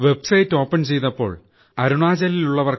website open ചെയ്തപ്പോൾ അരുണാചൽപ്രദേശിൽ